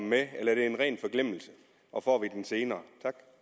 med eller er det en ren forglemmelse og får vi det senere